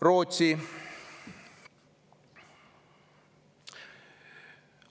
Rootsi.